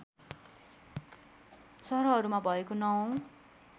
सहरहरूमा भएको ९ औँ